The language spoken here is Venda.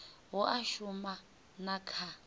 hu a shuma na kha